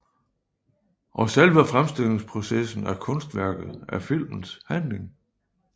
Og selve fremstillingsprocessen af kunstværket er filmens handling